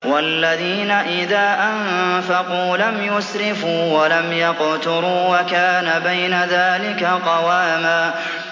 وَالَّذِينَ إِذَا أَنفَقُوا لَمْ يُسْرِفُوا وَلَمْ يَقْتُرُوا وَكَانَ بَيْنَ ذَٰلِكَ قَوَامًا